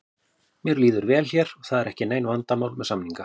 Mér líður vel hér og það eru ekki nein vandamál með samninga.